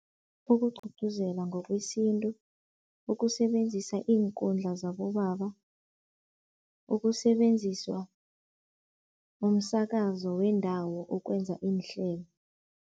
Ukugcugcuzela ngokwesintu, ukusebenzisa iinkundla zabobaba, ukusebenziswa komsakazo wendawo ukwenza iinhlelo.